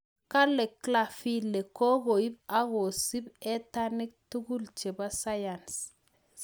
Kalee Glanvilee kokoip akosup etanik tugul chepo sayans